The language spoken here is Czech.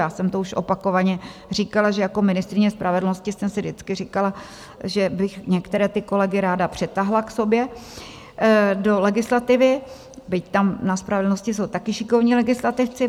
Já jsem to už opakovaně říkala, že jako ministryně spravedlnosti jsem si vždycky říkala, že bych některé ty kolegy ráda přitáhla k sobě do legislativy, byť tam na spravedlnosti jsou taky šikovní legislativci.